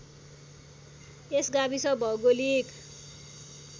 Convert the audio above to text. यस गाविस भौगोलिक